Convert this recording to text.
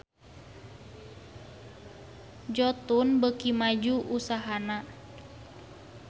Jotun beuki maju usahana